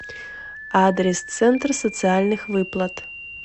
адрес центр социальных выплат